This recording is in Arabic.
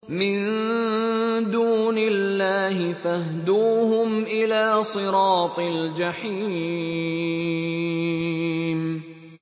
مِن دُونِ اللَّهِ فَاهْدُوهُمْ إِلَىٰ صِرَاطِ الْجَحِيمِ